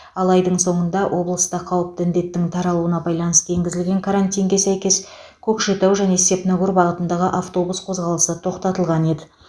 ал айдың соңында облыста қауіпті індеттің таралуына байланысты енгізілген карантинге сәйкес көкшетау және степногор бағытындағы автобус қозғалысы тоқтатылған еді